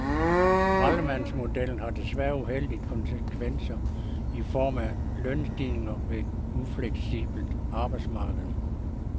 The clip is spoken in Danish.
Skraldemandsmodellen har desværre uheldige konsekvenser i form af lønstigninger og et ufleksibelt arbejdsmarked.